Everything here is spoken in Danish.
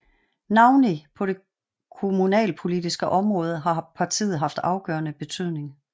Navnlig på det kommunalpolitiske område har partiet haft afgørende betydning